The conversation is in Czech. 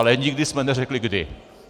Ale nikdy jsme neřekli kdy...